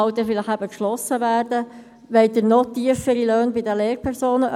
Wollen Sie noch tiefere Löhne bei den Lehrpersonen?